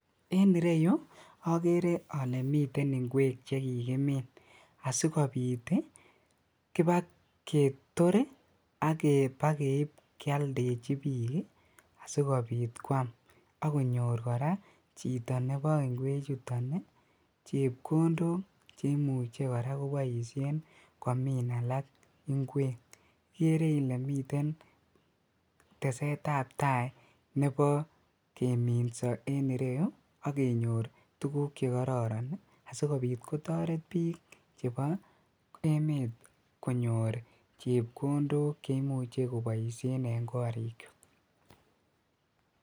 En ireyuu okeree olee miten ing'wek chekikimin asikobiit kibaketor ak kibakeib keoldechi biik asikobiit kwaam akonyor kora chito nebo ing'wechuton chepkondok cheimuche kora koboishen komin alaak ing'wek, ikeree ilee miten tesetab taii nebo keminso en ireyuu akenyor tukuk chekororon ii asikobiit kotoret biik chebo emet konyor chepkondok cheimuche koboishen en korikwak.